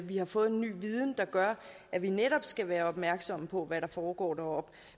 vi har fået en ny viden der gør at vi netop skal være opmærksomme på hvad der foregår deroppe